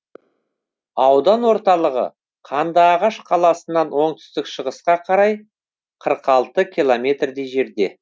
аудан орталығы қандыағаш қаласынан оңтүстік шығысқа қарай қырық алты километрдей жерде